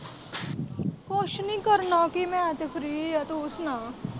ਕੁੱਛ ਨੀ ਕਰਨਾ ਕੀ ਮੈਂ ਤੇ free ਏ ਤੂੰ ਸੁਣਾ।